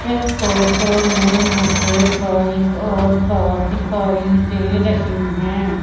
इस फोटो में मुझे बाइक और का दिखाई दे रही हैं।